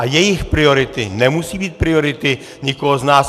A jejich priority nemusí být priority nikoho z nás.